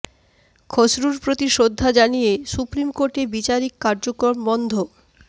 খসরুর প্রতি শ্রদ্ধা জানিয়ে সুপ্রিম কোর্টে বিচারিক কার্যক্রম বন্ধ